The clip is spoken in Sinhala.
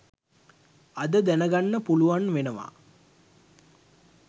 අද දැනගන්න පුලුවන් වෙනවා